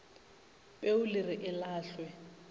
peu le re e lahlwe